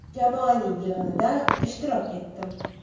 Jamoaning yig‘inida ishtirok etdim.